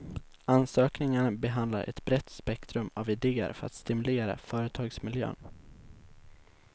Ansökningarna behandlar ett brett spektrum av idéer för att stimulera företagsmiljön.